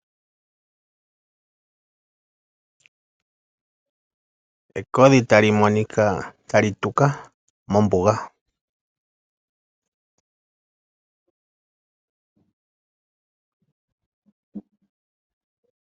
Ekodhi tali monika tali tuka mombuga.